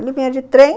Ele vinha de trem.